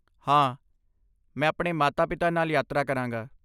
ਹਾਂ, ਮੈਂ ਆਪਣੇ ਮਾਤਾ ਪਿਤਾ ਨਾਲ ਯਾਤਰਾ ਕਰਾਂਗਾ